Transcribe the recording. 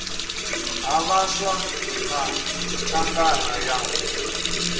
ha vhaswa na thangana ya